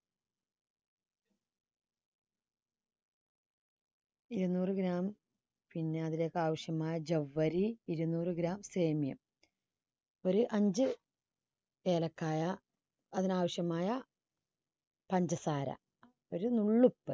ഇരുന്നൂറ് gram പിന്നെ അതിലേക്ക് ആവശ്യമായ ജൗവ്വരി ഇരുന്നൂറ് gram semiya ഒരു അഞ്ച് ഏലക്കായ അതിനാവശ്യമായ പഞ്ചസാര ഒരു നുളള്